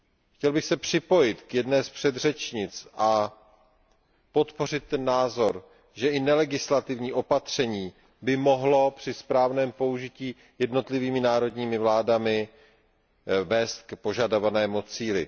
Chtěl bych se připojit k jedné z předřečnic a podpořit názor, že i nelegislativní opatření by mohlo při správném použití jednotlivými národními vládami vést k požadovanému cíli.